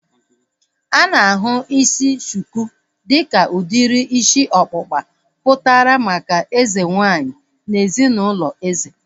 A na-ahụ isi shuku dịka udiri isi ọkpụkpa pụtara maka eze nwaanyị na ezinaụlọ eze